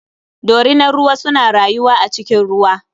Dorinar ruwa suna rayuwa a cikin ruwa.